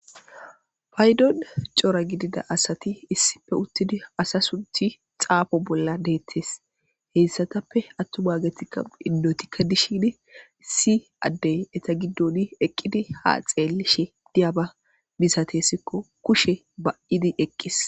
paydon coora gidida asati issife uttidi asa sunthi xaafo bolla deettes heyssatappe attuwaagetikka indotikka dishin issi addey eta giddon eqqidi ha xeelishe diyaba misatessikko kushe ba7idi eqqis